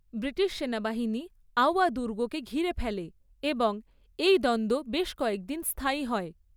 British সেনাবাহিনী আউয়া দুর্গকে ঘিরে ফেলে এবং এই দ্বন্দ্ব বেশ কয়েক দিন স্থায়ী হয়।